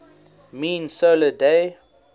mean solar day